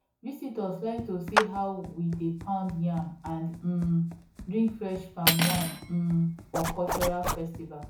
visitors like to see how we dey pound yam and um drink fresh palm wine um for cultural festival